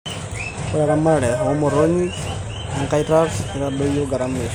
Ore eramatare oo motonyik enkaitat keitadoyio garama eishoi.